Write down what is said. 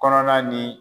Kɔnɔna ni